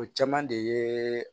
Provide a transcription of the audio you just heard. O caman de ye